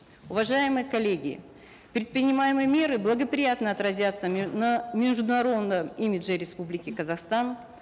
уважаемые коллеги предпринимаемые меры благоприятно отразятся на международном имидже республики казахстан